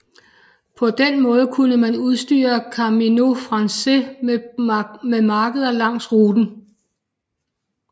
På den måde kunne man udstyre Camino Francés med markeder langs ruten